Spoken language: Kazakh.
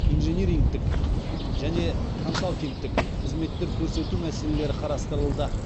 инжинирингтік және консалтингтік қызметтер көрсету мәселелері қарастырылды